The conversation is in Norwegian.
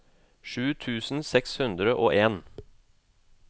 sju tusen seks hundre og en